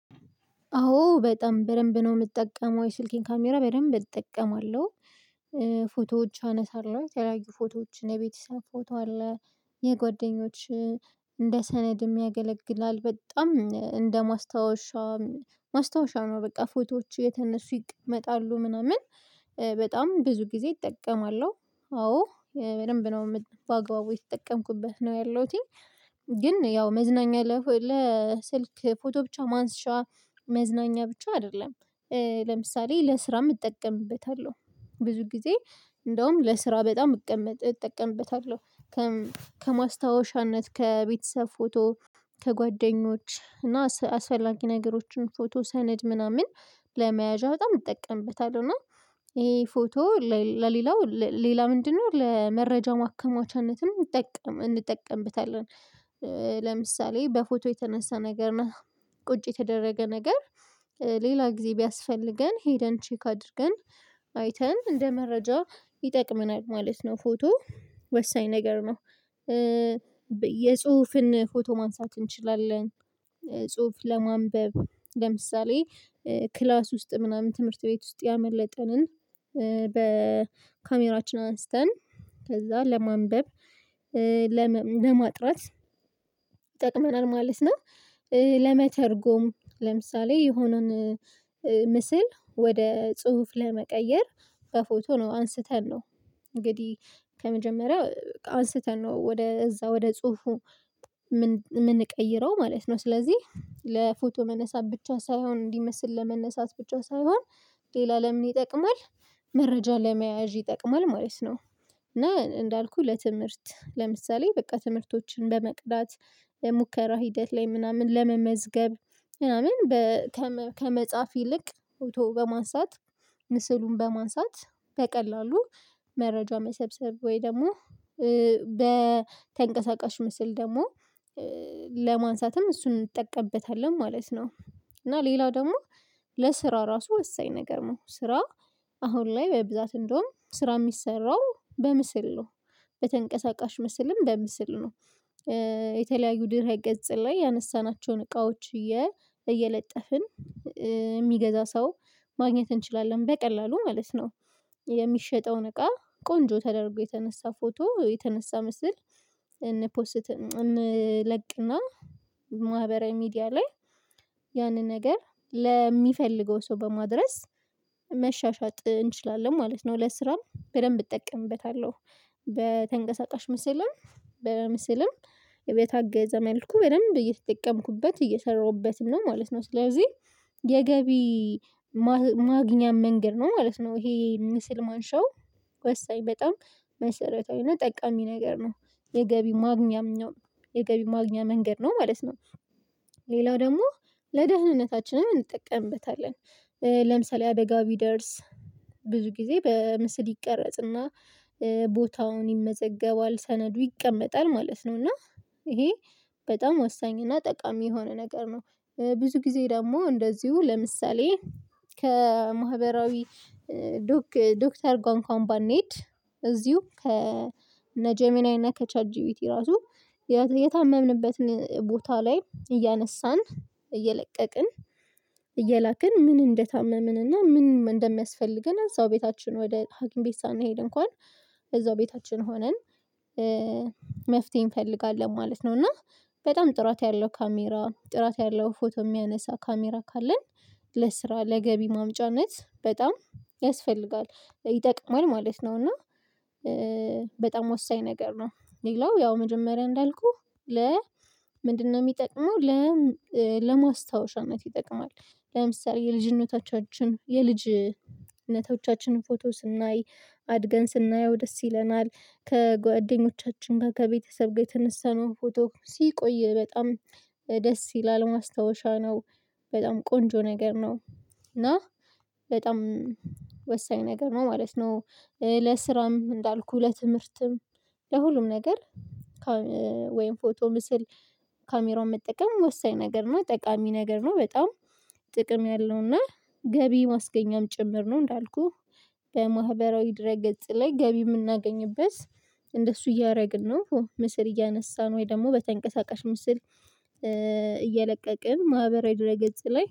አዎ በጣም በደንብ ነው የምጠቀመው የስልኬን ካሜራ በደንብ እጠቀማለሁ። ፎቶዎች አነሳለሁ የተለያዩ ፎቶዎች የበተሰብ ፎቶ አለ። የጓደኞች እንደ ሰነድ የሚያገለግላል በጣም እንደ ማስታወሻ ነው። በቃ ፎቶዎች የተነሱ ይቀመጣሉ ምናምን በጣም ብዙ ጊዜ እጠቀማለሁ። አዎ በደንብ ነው በአግባቡ የተጠቀምኩበት ነው ያለሁትኝ። ግን ያው መዝናኛ ለስልክ ፎቶ ብቻ ማንሻ መዝናኛ ብቻ አይደለም። ለምሳሌ ለስራም እጠቀምበታለሁ ብዙ ጊዜ እንደውም ለስራ በጣም እቀመጥ እጠቀምበታለሁ። ከማስታወሻነት ከቤተሰብ ፎቶ ከጓደኞች እና አስፈላጊ ነገሮችን ፎቶ ሰነድ ምናምን ለመያዣ በጣም እጠቀምበታለሁ። እና ይሄ ፎቶ ለሌላው ሌላ ምንድነው ለመረጃ ማከማቻነትም እንጠቀም እንጠቀምበታለን። ለምሳሌ በፎቶ የተነሳ ነገር እና ቁጭ የተደረገ ነገር ሌላ ጊዜ ቢያስፈልገን ሄደን ቼክ አድርገን አይተን እንደ መረጃ ይጠቅምናል። ማለት ነው ፎቶ ወሳኝ ነገር ነው። የጽሁፍን ፎቶ ማንሳት እንችላለን። ጽሁፍ ለማንበብ ለምሳሌ ክላስ ውስጥ ምናምን ትምህርት ቤት ውስጥ ያመለጠንን በካሜራችን አንስተን ከዛ ለማንበብ ለማጥናት ይጠቅመናል ማለት ነው። ለመተርጎም ለምሳሌ የሆነን ምስል ወደ ጽሁፍ ለመቀየር በፎቶ ነው አንስተን ነው እንግዲህ ከመጀመሪያ በቃ አንስተን ነው ወደ እዛ ወደ ጽሁፉ ምንቀይረው ማለት ነው። ስለዚህ ለፎቶ መነሳት ብቻ ሳይሆን እንዲመስል ለመነሳት ብቻ ሳይሆን ሌላ ለምን ይጠቅማል? መረጃ ለመያዥ ይጠቅማል ማለት ነው። እና እንዳልኩህ ለትምህርት ለምሳሌ በቃ ትምህርቶችን በመቅዳት ሙከራ ሂደት ላይ ምናምን ለመመዝገብ ምናምን ከመጻፍ ይልቅ ፎቶ በማንሳት ምስሉን በማንሳት በቀላሉ መረጃም መሰብሰብ ወይ ደግሞ በተንቀሳቃሽ ምስል ደግሞ ለማንሳትም እሱን እንጠቀምበታለን ማለት ነው። እና ሌላው ደግሞ ለስራ ራሱ ወሳኝ ነገር ነው። ስራ አሁን ላይ ወይ በብዛት እንደውም ስራ የሚሰራው በምስል ነው። በተንቀሳቃሽ ምስልም በምስል ነው። የተለያዩ ድህረ ገጽ ላይ ያነሳናቸውን እቃዎች እየለጠፍን የሚገዛ ሰው ማግኘት እንችላለን በቀላሉ ማለት ነው። የሚሸጠውን እቃ ቆንጆ ተደርጎ የተነሳ ፎቶ የተነሳ ምስል እንፖስት እንለቅና ማህበራዊ ሚዲያ ላይ ያንን ነገር ለሚፈልገው ሰው በማድረስ መሻሻጥ እንችላለን ማለት ነው። ለስራም በደንብ እጠቀምበታለሁ። በተንቀሳቃሽ ምስልም በምስልም በታገዛ መልኩ በደንብ እየተጠቀምኩበት እየሰራሁበትም ነው ማለት ነው። ስለዚህ የገቢ ማግኛ መንገድ ነው ማለት ነው። ይሄ ምስል ማንሻው ወሳኝ በጣም መሰረታዊና ጠቃሚ ነገር ነው። የገቢ ማግኛም ነው የገቢ ማግኛ መንገድ ነው ማለት ነው። ሌላው ደግሞ ለደህንነታችንም እንጠቀምበታለን። ለምሳሌ አደጋ ቢደርስ ብዙ ጊዜ በምስል ይቀረጽና ቦታውን ይመዘገባል ሰነዱ ይቀመጣል ማለት ነው። እና ይሄ በጣም ወሳኝ እና ጠቃሚ የሆነ ነገር ነው። ብዙ ጊዜ ደግሞ እንደዚሁ ለምሳሌ ከማህበራዊ ዶክተር ጋር እንኳን ባኔድ እዚሁ ከነጀሚናይ እና ከቻት ጂቢቲ ራሱ የታመብንበትን ቦታ ላይ እያነሳን እየለቀቅን እየላክን ምን እንደታመምንና ምን እንደሚያስፈልገን እዛው ቤታችን ወደ ሀገር ቤት ሳናሄድ እንኳን እዛው ቤታችን ሆነን መፍትሄ እንፈልጋለን ማለት ነው። እና በጣም ጥራት ያለው ካሜራ ጥራት ያለው ፎቶ የሚያነሳ ካሜራ ካለን ለስራ ለገቢ ማምጫነት በጣም ያስፈልጋል ይጠቅማል ማለት ነው። እና በጣም ወሳኝ ነገር ነው። ሌላው ያው መጀመሪያ እንዳልኩህ ለ ምንድነው የሚጠቅመው ለ ለማስታወሻነት ይጠቅማል። ለምሳሌ የልጅነቶቻችን የልጅነቶቻችን ፎቶ ስናይ አድገን ስናየው ደስ ይለናል። ከጓደኞቻችን ጋር ከቤተሰብ ጋር የተነሳነው ፎቶ ሲቆይ በጣም ደስ ይላል ማስታወሻ ነው። በጣም ቆንጆ ነገር ነው። እና በጣም ወሳኝ ነገር ነው ማለት ነው። ለስራም እንዳልኩህ ለትምህርትም ለሁሉም ነገር ወይም ፎቶ ምስል ካሜራውን መጠቀም ወሳኝ ነገር ነው ጠቃሚ ነገር ነው። በጣም ጥቅም ያለው እና ገቢ ማስገኛም ጭምር ነው። እንዳልኩህ በማህበራዊ ድረ ገጽ ላይ ገቢ የምናገኝበት እንደሱ እያደረግን ነው። ምስል እያነሳን ወይ ደግሞ በተንቀሳቃሽ ምስል እየለቀቅን ማህበራዊ ድህረ ገጽ ላይ